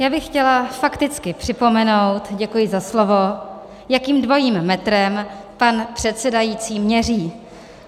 Já bych chtěla fakticky připomenout - děkuji za slovo - jakým dvojím metrem pan předsedající měří.